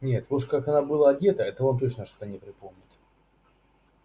нет вот уж как она была одета этого он что-то не припомнит